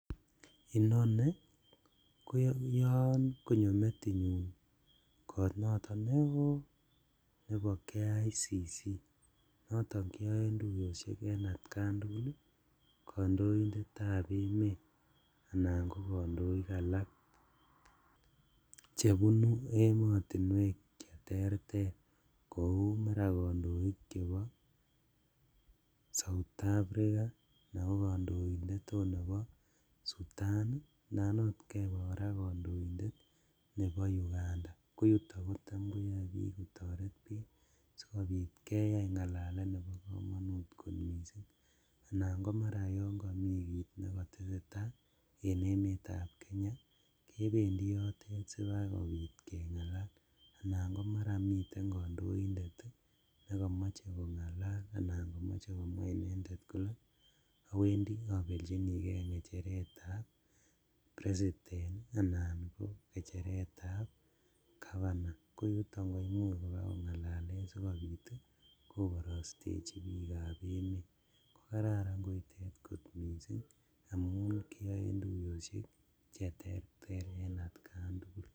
Inoni koyon konyo metinyun kot noton neo nebo KICC noton keyoe tuyoshek en atkan tugul ii kondoindetab emet anan ko kondoik alak chebunu emotinwek cheterter kou maraa kondoik chebo South Africa, anan ko kondoindet ot nebo Sudan ii, anan ot kebee koraa kondoindet nebo Uganda koyuto kotam koyoe bik kotoret bik sikobit keyai ngalalet nebo komonut kot missing' anan komaran mi kit nekotesetaa en emetab Kenya kebendi yoto sibakobit kengalal, alan komaran miten kondoindet nekomoche kongalal anan komoche komwaa inendet koke owendi obeljinigee ngecheretab president anan ko ngecheretab governor koyuto koimuch kongalalen sikobit koborostechi bikab emet kokararan koitet kot missing' amun kiyoe tuyoshek cheterter en atkan tugul.